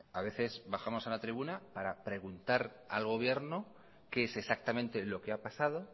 a veces bajamos a la tribuna para preguntar al gobierno qué es exactamente lo que ha pasado